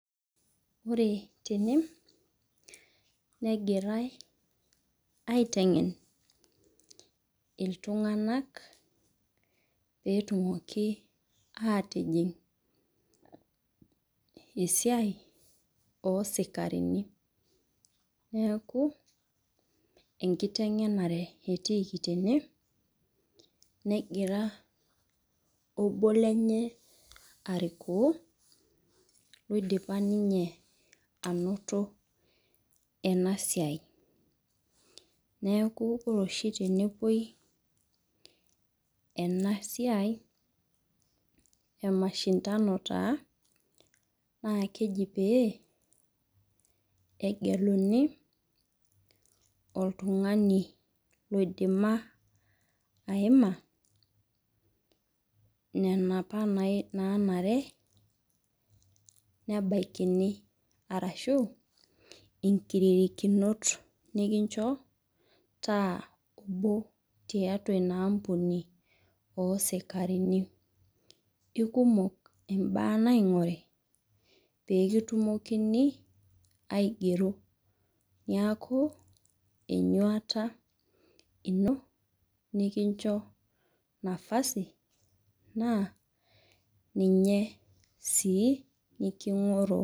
Ore tene negirae aitengen. iltunganak pee etumoki aatijing esiai oosikarini. neeku enkitegenare etiiki tene. negira obo lenye arikoo oidipa ena siai. neeku ore oshi tenepuoi ena siai emashindano taa oidima aima. nena apa naanare nebaikini arashu nkiririkinot nikincho taa kumok tiatua Ina ampuni oosikarini. kikumok imbaa naingoru pee kitumokini aigero. niaku. enyuat ino. nikincho nafasi naa ninye sii niking'orroo.